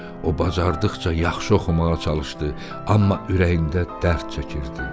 O bacardıqca yaxşı oxumağa çalışdı, amma ürəyində dərd çəkirdi.